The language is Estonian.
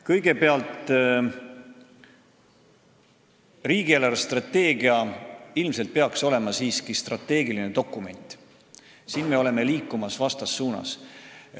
Kõigepealt, riigi eelarvestrateegia peaks ilmselt olema siiski strateegiline dokument, meie oleme aga liikumas vastassuunas.